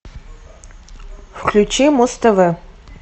включи муз тв